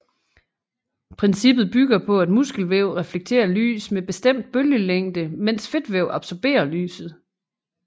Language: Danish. Princippet bygger på at muskelvæv reflekterer lys med bestemt bølgelængde mens fedtvæv absorberer lyset